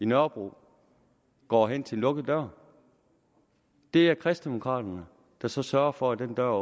nørrebro går hen til en lukket dør det er kristendemokraterne der så sørger for at den dør